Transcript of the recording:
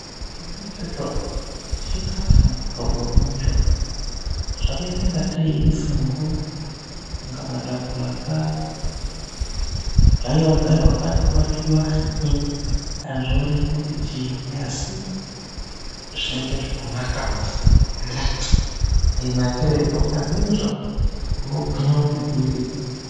Chona ichocho, chikhafu muhlobonyi icho? Zvakaita ingatei inzungu, inga matapura akagaiwa-gaiwa, akathwiwa-thwiwa. Azvioneki kuti chiinyi? Asi zvinenge zvinonaka. Ukarye izvo unogwinya kuti gwindiri.